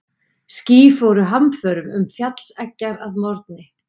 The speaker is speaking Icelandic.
Ský fóru hamförum um fjallseggjar að morgni.